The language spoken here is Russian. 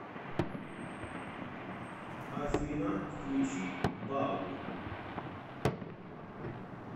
афина включить балл